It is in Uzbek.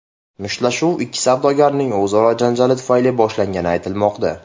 Mushtlashuv ikki savdogarning o‘zaro janjali tufayli boshlangani aytilmoqda.